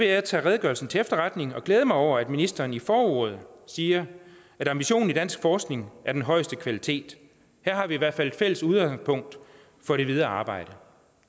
jeg tage redegørelsen til efterretning og glæde mig over at ministeren i forordet siger at ambitionen i dansk forskning er den højeste kvalitet her har vi i hvert fald et fælles udgangspunkt for det videre arbejde